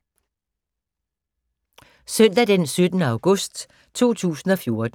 Søndag d. 17. august 2014